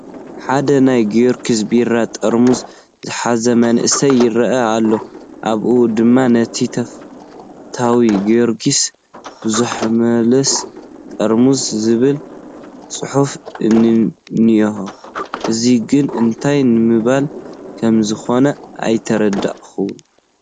ሓደ ናይ ጊዮርጊስ ቢራ ጠርሙዝ ዝሓዘ መንእሰይ ይርአይ ኣሎ፡፡ ኣብኡ ድማ ነቲ ተፈታዊ ጊዮርግስ ብዘይምለስ ጠርሙዝ ዝብል ፅሑፍ እኒሀ፡፡ እዚ ግን እንታይ ንምባል ከምዝኾነ ኣይተረድአንን፡፡